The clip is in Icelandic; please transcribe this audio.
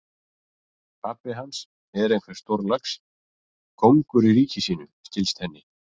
Pabbi hans er einhver stórlax, kóngur í ríki sínu, skilst henni.